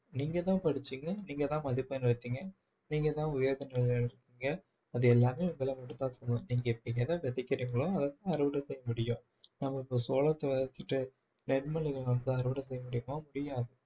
நீங்கதான் படிச்சீங்க நீங்கதான் மதிப்பெண் எடுத்தாங்க நீங்கதான் உயர்ந்த நிலையில இருக்கீங்க அது எல்லாமே உங்கள மட்டும் தான் சேரும் நீங்க நீங்க எதை விதைக்கரிங்களோ அதைத்தான் அறுவடை செய்ய முடியும் நாம இப்போ சோளத்தை விதைச்சுட்டு நெல்மணிகளை வந்து அறுவடை செய்ய முடியுமா முடியாது